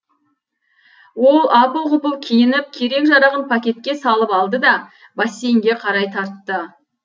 ол апыл ғұпыл киініп керек жарағын пакетке салып алды да бассейнге қарай тартты